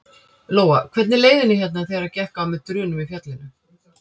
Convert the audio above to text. Lóa: Hvernig leið henni hérna þegar gekk á með drunum í fjallinu?